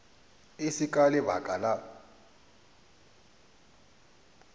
e se ka lebaka la